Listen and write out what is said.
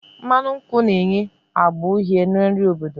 Mmanụ nkwụ na-enye agba uhie na nri obodo